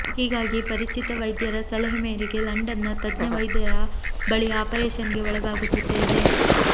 ಹೀಗಾಗಿ ಪರಿಚಿತ ವೈದ್ಯರ ಸಲಹೆ ಮೇರೆಗೆ ಲಂಡನ್ನ ತಜ್ಞ ವೈದ್ಯರ ಬಳಿ ಆಪರೇಷನ್ಗೆ ಒಳಗಾಗುತ್ತಿದ್ದೇನೆ